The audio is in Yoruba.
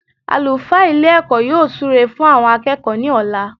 Àlùfáà Ilé èkó yóò súre fún àwon akéèkó ní òla